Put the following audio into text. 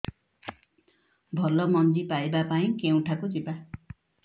ଭଲ ମଞ୍ଜି ପାଇବା ପାଇଁ କେଉଁଠାକୁ ଯିବା